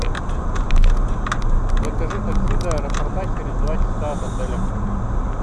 закажи такси до аэропорта через два часа от отеля